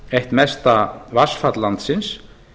eitt mesta vatnsfall landsins